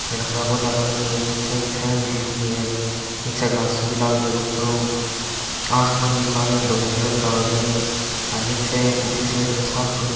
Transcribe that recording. घना करा पौधा लाग रया है निचे की छाया भी दिख रही है र निचे घासो भी लाग रयो है ऊपर हु आसमान भी काला र धोला कलर का होरया है ह र निचे उँली साइड म साफ पड्यो --